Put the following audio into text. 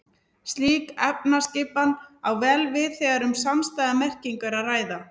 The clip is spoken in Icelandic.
Slík efnisskipan á vel við þegar um samstæða merkingu er að ræða.